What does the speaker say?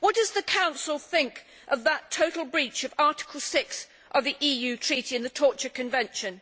What does the Council think of that total breach of Article 6 of the EU Treaty and the Torture Convention?